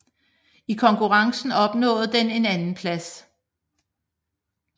I konkurrencen opnåede den en andenplads